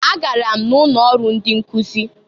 Agara m na ụnọ ọrụ ndị nkụz.